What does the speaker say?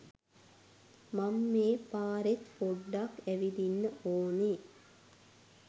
මං මේ පාරෙත් පොඞ්ඩක් ඇවිදින්න ඕන